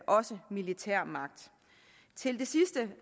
også militærmagt til det sidste